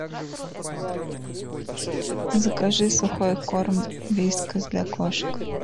закажи сухой корм вискас для кошек